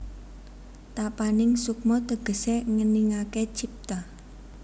Tapaning sukma tegesé ngeningaké cipta